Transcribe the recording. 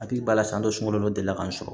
Hakili b'a la san dɔ sun dɔ delila k'an sɔrɔ